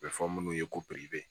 A bɛ fɔ munnu ye ko piribe